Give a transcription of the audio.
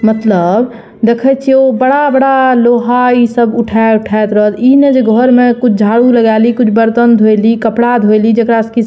मतलब देखे छीये ओ बड़ा-बड़ा लोहा इ सब उठे-उठे के रहल इ ने जे घर में कुछ झाड़ू लागाली कुछ बर्तन धोइली कुछ कपड़ा धोईली जेकरा से की --